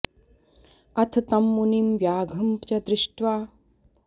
अथ तं मुनिं व्याघ्रं च दृष्ट्वा सर्वे वदन्ति अनेन मुनिना मूषिको व्याघ्रतां नीतः